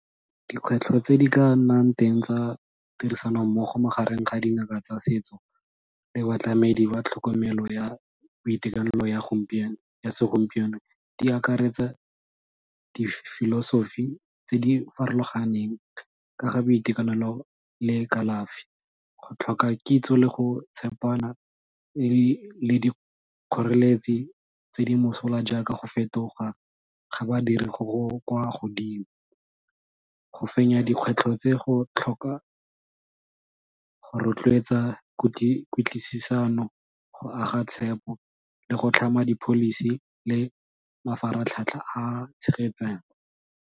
Dikgwetlho tse di ka nnang teng tsa tirisano mmogo magareng ga dingaka tsa setso le batlamedi ba tlhokomelo ya boitekanelo ya segompieno, di akaretsa di-philosophy tse di farologaneng ka ga boitekanelo le kalafi, go tlhoka kitso le go tshepana e le dikgoreletsi tse di mosola jaaka go fetoga ga badiri go go kwa godimo. Go fenya dikgwetlho tse go tlhoka go rotloetsa kutlwisano, go aga tshepo le go tlhama di-policy le mafaratlhatlha a a tshegetsang.